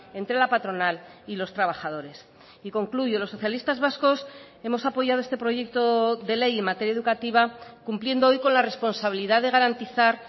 entre la patronal y los trabajadores y concluyo los socialistas vascos hemos apoyado este proyecto de ley en materia educativa cumpliendo hoy con la responsabilidad de garantizar